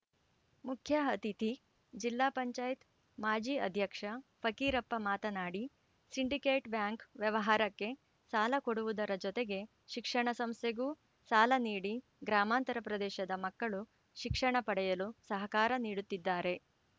ಮುಖ್ಯ ಅತಿಥಿ ಜಿಲ್ಲಾ ಪಂಚಾಯತಿ ಮಾಜಿ ಅಧ್ಯಕ್ಷ ಫಕೀರಪ್ಪ ಮಾತನಾಡಿ ಸಿಂಡಿಕೇಟ್‌ ಬ್ಯಾಂಕ್‌ ವ್ಯವಹಾರಕ್ಕೆ ಸಾಲ ಕೊಡುವುದರ ಜೊತೆಗೆ ಶಿಕ್ಷಣ ಸಂಸ್ಥೆಗೂ ಸಾಲ ನೀಡಿ ಗ್ರಾಮಾಂತರ ಪ್ರದೇಶದ ಮಕ್ಕಳು ಶಿಕ್ಷಣ ಪಡೆಯಲು ಸಹಕಾರ ನೀಡುತ್ತಿದ್ದಾರೆ